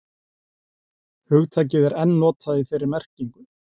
Hugtakið er enn notað í þeirri merkingu.